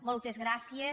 moltes gràcies